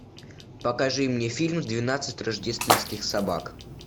покажи мне фильм двенадцать рождественских собак